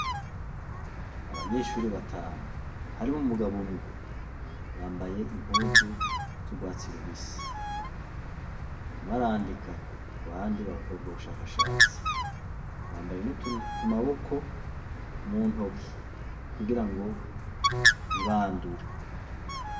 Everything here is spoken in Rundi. Abanyeshure batanu harimw'umugabo umwe, bambaye impuzu zurwatsi rubisi. Umwe arandika abandi bagakora ubushakashatsi, bambaye n'utuntu kumaboko, mu ntoki kugira ngo ntibandure.